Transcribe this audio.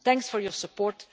Thanks for your support.